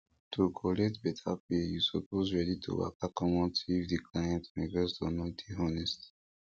to collect better pay you suppose ready to waka commot if the client investor no dey honest